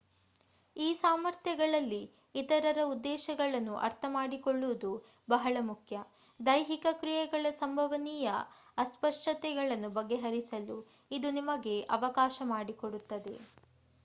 ಈ ಸಾಮರ್ಥ್ಯಗಳಲ್ಲಿ ಇತರರ ಉದ್ದೇಶವನ್ನು ಅರ್ಥಮಾಡಿಕೊಳ್ಳುವುದು ಬಹಳ ಮುಖ್ಯ ದೈಹಿಕ ಕ್ರಿಯೆಗಳ ಸಂಭವನೀಯ ಅಸ್ಪಷ್ಟತೆಗಳನ್ನು ಬಗೆಹರಿಸಲು ಇದು ನಮಗೆ ಅವಕಾಶ ಮಾಡಿಕೊಡುತ್ತದೆ